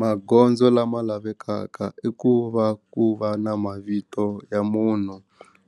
Magondzo lama lavekaka i ku va ku va na mavito ya munhu